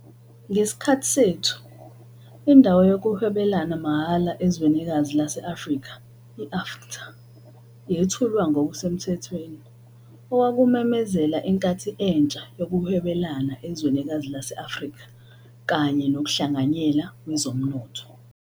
Ngesikhathi sethu, iNdawo Yokuhwebelana Mahhala Ezwenikazi lase-Afrika, iAfCFTA, yethulwa ngokusemthethweni, okwakumemezela inkathi entsha yokuhwebelana ezwenikazi lase-Afrika kanye nokuhlanganyela kwezomnotho.